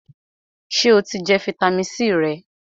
Sè o ti jẹ fitamisi C rẹ?